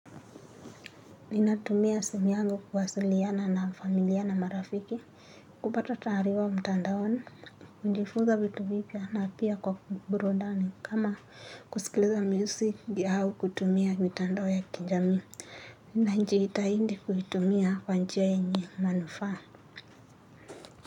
Ninatumia simu yangu kuwasiliana na familia na marafiki. Kupata taarifa mtandaoni kujifunza vitu vipya na pia kwa burundani kama kusikiliza music au kutumia mitandao ya kijamii. Ninajitahidi kuitumia kwa njia yenye manufaa.